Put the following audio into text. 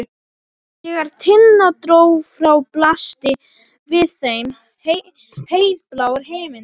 Þegar Tinna dró frá blasti við þeim heiðblár himinn.